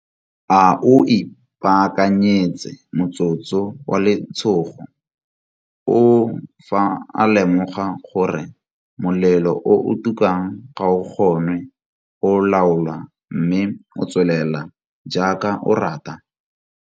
A o ipaakanyetse motsotso wa letshogo oo fa a lemoga gore molelo o o tukang ga o kgonwe go laolwa mme o tswelela jaaka o rata?